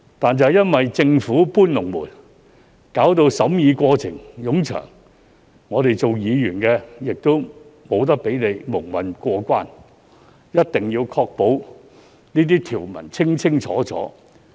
但因為政府"搬籠門"，令審議過程冗長，我們作為議員不能讓他們蒙混過關，必須確保相關條文清清楚楚。